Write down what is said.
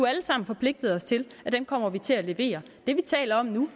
alle sammen forpligtet os til at vi kommer til at levere det vi taler om nu